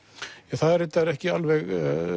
er reyndar ekki alveg